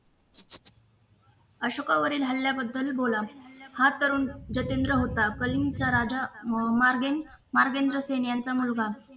अशोकावरील हल्याबद्दल बोला हा तरुण जितेंद्र होता कलींगचा राजा अह मार्गेन मागेंद्र सिंग यांचा मुलगा